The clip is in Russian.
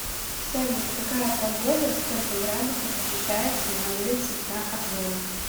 салют какая погода сколько градусов ощущается на улице за окном